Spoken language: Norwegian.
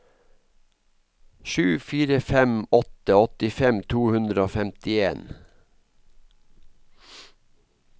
sju fire fem åtte åttifem to hundre og femtien